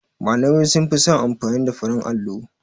Malamai sunfi son amfani da farin allo.